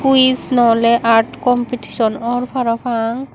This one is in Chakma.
quiss no oly art competition or parapang.